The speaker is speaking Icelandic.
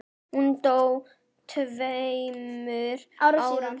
Hún dó tveimur árum síðar.